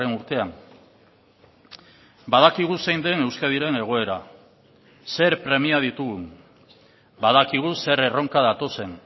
urtean badakigu zein den euskadiren egoera zer premia ditugun badakigu zer erronka datozen